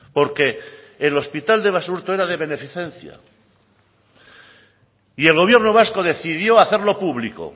porque el hospital de basurto era de beneficencia y el gobierno vasco decidió hacerlo público